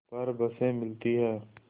पर बसें मिलती हैं